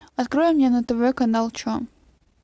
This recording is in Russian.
открой мне на тв канал че